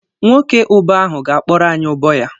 Nwoke Ụbọ ahụ ga-akpọrọ anyị ụbọ ya.